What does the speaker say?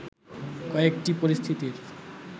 কয়েকটি পরিস্থিতির